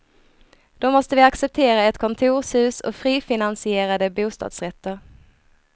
Då måste vi acceptera ett kontorshus och frifinaniserade bostadsrätter.